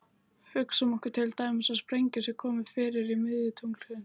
Hugsum okkur til dæmis að sprengju sé komið fyrir í miðju tunglsins.